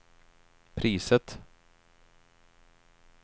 priset